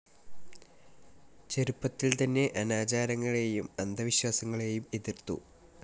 ചെറുപ്പത്തിൽ തന്നെ അനാചാരങ്ങളെയും അന്ധവിശ്വാസങ്ങളെയും എതിർത്തു.